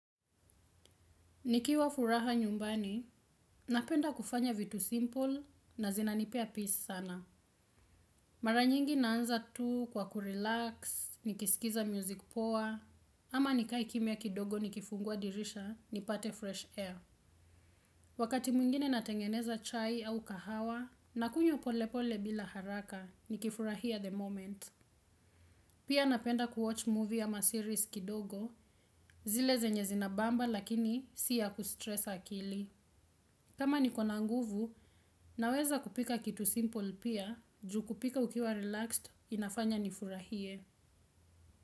Nikiwa furaha nyumbani, napenda kufanya vitu simple na zinanipea peace sana. Mara nyingi naanza tu kwa kurelax, nikisikiza music poa, ama nikae kimia kidogo nikifungua dirisha, nipate fresh air. Wakati mwingine natengeneza chai au kahawa, nakunywa polepole bila haraka, nikifurahia the moment. Pia napenda kuwatch movie ama series kidogo, zile zenye zinabamba lakini si ya kustress akili. Kama nikona nguvu, naweza kupika kitu simple pia, ju kupika ukiwa relaxed, inafanya nifurahie.